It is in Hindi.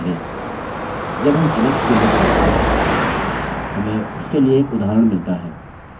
जब हम alex के लिए खोजते हैं हमें उसके लिए एक उदाहरण मिलता है